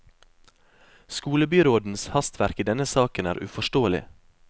Skolebyrådens hastverk i denne saken er uforståelig.